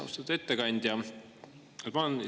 Austatud ettekandja!